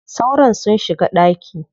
Sauron sun shiga ɗaki.